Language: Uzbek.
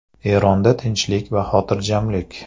Eronda tinchlik va xotirjamlik.